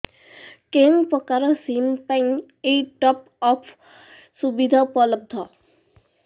କେଉଁ ପ୍ରକାର ସିମ୍ ପାଇଁ ଏଇ ଟପ୍ଅପ୍ ସୁବିଧା ଉପଲବ୍ଧ